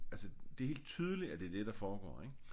Altså det er helt tydeligt at det er det der foregår ik